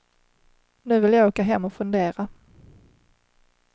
Nu vill jag åka hem och fundera.